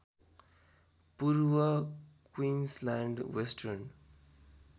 पूर्व Queensland western